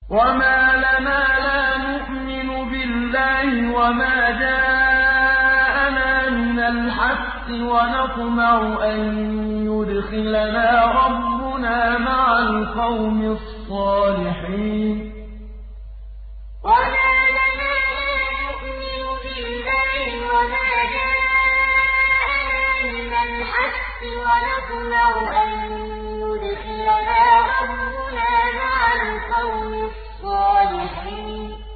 وَمَا لَنَا لَا نُؤْمِنُ بِاللَّهِ وَمَا جَاءَنَا مِنَ الْحَقِّ وَنَطْمَعُ أَن يُدْخِلَنَا رَبُّنَا مَعَ الْقَوْمِ الصَّالِحِينَ وَمَا لَنَا لَا نُؤْمِنُ بِاللَّهِ وَمَا جَاءَنَا مِنَ الْحَقِّ وَنَطْمَعُ أَن يُدْخِلَنَا رَبُّنَا مَعَ الْقَوْمِ الصَّالِحِينَ